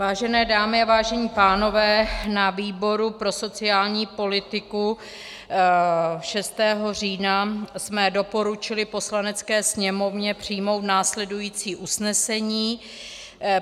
Vážené dámy a vážení pánové, na výboru pro sociální politiku 6. října jsme doporučili Poslanecké sněmovně přijmout následující usnesení.